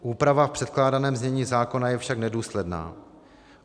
Úprava v předkládaném znění zákona je však nedůsledná.